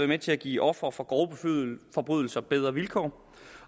med til at give ofre for grove forbrydelser bedre vilkår